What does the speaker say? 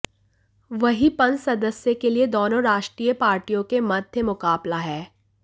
वही पंस सदस्य के लिए दोनों राष्ट्रीय पार्टियों के मध्य मुकाबला है